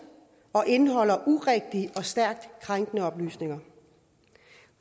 og indeholder stærkt krænkende oplysninger